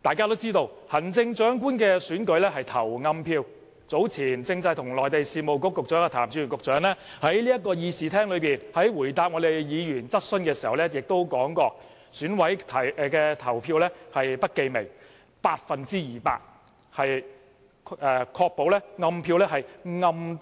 大家都知道行政長官的選舉是投"暗票"的，早前政制及內地事務局局長譚志源在立法會會議廳答覆議員質詢的時候亦指出，選委的投票是不記名，百分之二百能確保"暗票"是"很暗